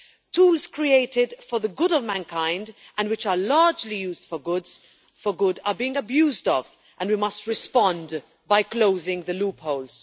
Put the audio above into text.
Tools created for the good of mankind, and which are largely used for good, are being abused, and we must respond by closing the loopholes.